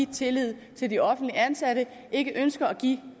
tillid til de offentligt ansatte ikke ønsker at give